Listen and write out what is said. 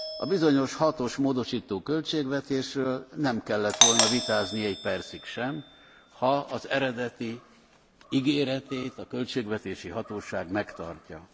A bizonyos hatos módosító költségvetésről nem kellett volna vitázni egy percig sem, ha az eredeti ígéretét a költségvetési hatóság megtartja.